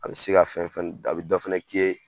A bɛ se ka fɛn fɛn a bɛ dɔ fɛnɛ k'i ye